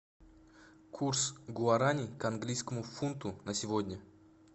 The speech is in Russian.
курс гуарани к английскому фунту на сегодня